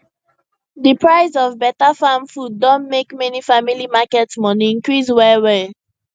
di high price of betterfarm food don make many family market money increase wellwell